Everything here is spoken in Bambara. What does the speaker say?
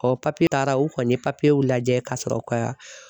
Ɔ papiye taara u kɔni ye papiyew lajɛ ka sɔrɔ ka